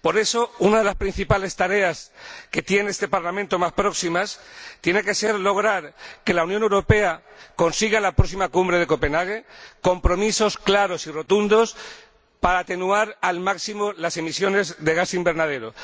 Por eso, una de las principales tareas que tiene este Parlamento es lograr que la Unión Europea consiga en la próxima Cumbre de Copenhague compromisos claros y rotundos para atenuar al máximo las emisiones de gas invernadero,